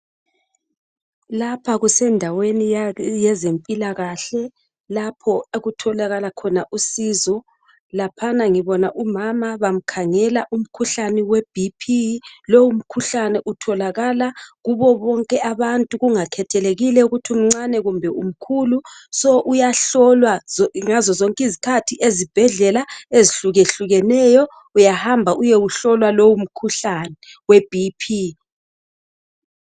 Lapha kusendaweni yezempilakahle lapho okutholakala khona usizo, laphana ngibona umama bamkhangela umkhuhlane we bhiphi lowo mkhuhlane utholakala kubo bonke abantu kungakhethelekile ukuthi umncane kumbe umkhulu so uyahlolwa ngazozonke izikhathi ezibhedlela ezihlukehlukeneyo uyahamba uyewuhlolwa lowu mkhuhlane we bhiphi.